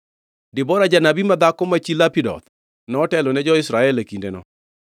Debora, janabi madhako, ma chi Lapidoth, notelo ne jo-Israel e kindeno.